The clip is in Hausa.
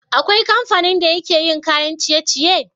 Akwai kamfanin da yake yin kayan ciye ciye?